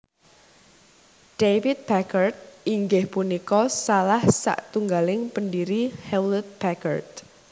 David Packard inggih punika salah satunggaling pendiri Hewlett Packard